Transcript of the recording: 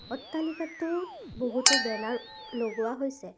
অট্টালিকাটোত বহুতো বেনাৰ লগোৱা হৈছে।